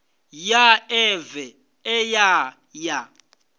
ya ḽeve ḽe ya ya